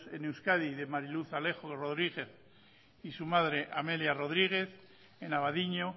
en euskadi de mari luz alejo rodríguez y su madre amelia rodríguez en abadiño